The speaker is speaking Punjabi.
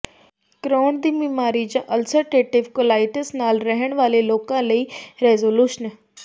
ਕ੍ਰੋਹਨ ਦੀ ਬਿਮਾਰੀ ਜਾਂ ਅਲਸਰਟੇਟਿਵ ਕੋਲਾਈਟਿਸ ਨਾਲ ਰਹਿਣ ਵਾਲੇ ਲੋਕਾਂ ਲਈ ਰੈਜੋਲੂਸ਼ਨ